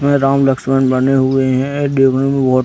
यहाँ राम-लक्ष्मण बने हुए हैं यह देखने में बहोत --